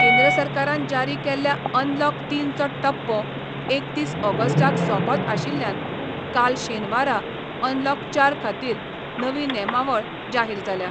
केंद्र सरकारान जारी केल्ल्या अनलॉक तीनचो टप्पो एकतीस ऑगस्टाक सोंपत आशिल्ल्यान काल शेनवारा अनलॉक चार खातीर नवी नेमावळ जाहीर जाल्या.